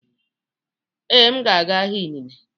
Ee, m ga-aga ahịa inine.